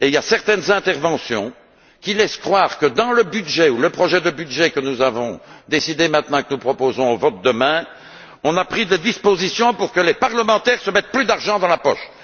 Certaines interventions laissent croire que, dans le budget ou le projet de budget que nous avons décidé maintenant et que nous proposerons au vote demain, on a pris des dispositions pour que les parlementaires se mettent plus d'argent dans la poche!